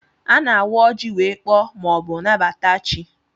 A na-awa oji wee kpọọ ma ọ bụ nabata chi.